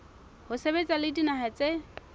ho sebetsa le dinaha tse